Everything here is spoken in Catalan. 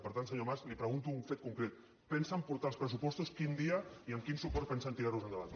per tant senyor mas li pregunto un fet concret pensen portar els pressupostos quin dia i amb quin suport pensen tirar los endavant